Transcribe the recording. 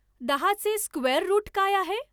दहाचे square root काय आहे